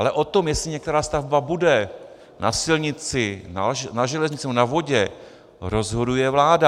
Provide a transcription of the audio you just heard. Ale o tom, jestli některá stavba bude na silnici, na železnici nebo na vodě, rozhoduje vláda.